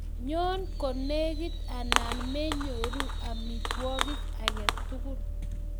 nyoo konekit anan me nyoru amitwogik agetugul